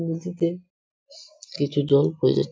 নীচেতে কিছু লোক --